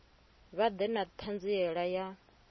vha ḓe na ṱhanziela ya